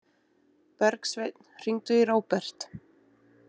Bergsveinn, hringdu í Róbert.